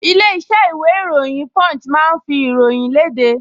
Ilé-iṣẹ́ ìròyìn Punch máa ń fi ìròyìn léde